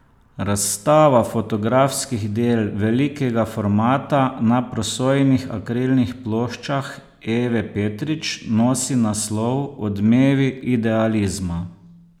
Razstava fotografskih del velikega formata na prosojnih akrilnih ploščah Eve Petrič nosi naslov Odmevi idealizma.